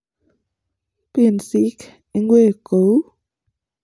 pinsik- ngwek ko uu